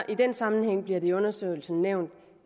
den sammenhæng bliver det i undersøgelsen nævnt